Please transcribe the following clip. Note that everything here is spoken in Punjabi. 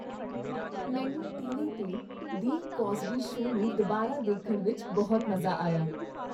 ਮੈਨੂੰ ਟੀਵੀ 'ਤੇ "ਦੀ ਕੋਸਬੀ ਸ਼ੋਅ" ਨੂੰ ਦੁਬਾਰਾ ਦੇਖਣ ਵਿੱਚ ਬਹੁਤ ਮਜ਼ਾ ਆਇਆ।